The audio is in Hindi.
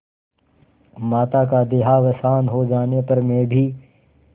माता का देहावसान हो जाने पर मैं भी